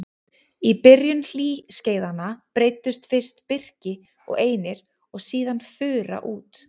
Í byrjun hlýskeiðanna breiddust fyrst birki og einir og síðan fura út.